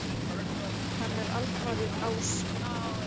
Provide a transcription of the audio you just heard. Hann er alfaðir ása.